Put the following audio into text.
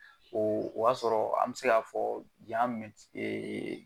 O y'a sɔrɔ an bɛ se k'a fɔ